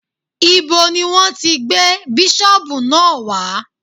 Ibo ni Wọ́n ti gbé bísọ̀bù náà wá?